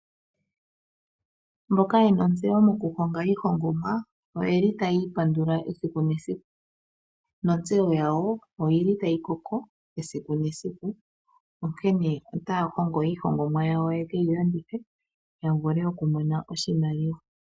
Mboka yena ontseyo moku honga iihongomwa oyeli tayi ipandula esiku nesiku nontseyo yawo oyili tayi koko esiku nesiku onkene otaa hongomo iihongomwa yawo yekeyi landithe ya vule oku mona oshimamliwa.